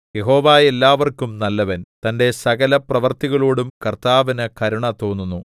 യഹോവ എല്ലാവർക്കും നല്ലവൻ തന്റെ സകലപ്രവൃത്തികളോടും കർത്താവിന് കരുണ തോന്നുന്നു